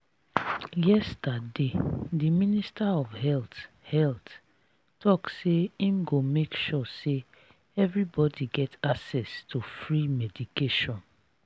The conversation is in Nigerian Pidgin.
yesterday the minister of health health talk say im go make sure say everybody get access to free medication